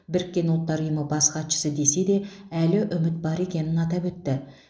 біріккен ұлттар ұйымы бас хатшысы десе де әлі үміт бар екенін атап өтті